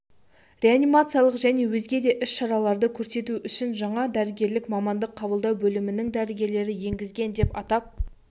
реанимациялық және өзге де іс-шараларды көрсету үшін жаңа дәрігерлік мамандық-қабылдау бөлімінің дәрігері енгізілген деп атап